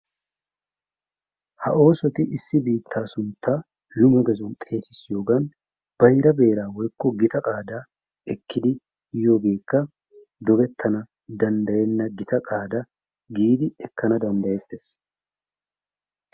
Ha oosoti issi biittaa sunttaa lumegeezuwaan xeesisiyoogan bayra beeraa woykko gita qaadaa ekkidi yoogeekka dogettana danddayenna gitta qaada giidi eekkana dandayeettees.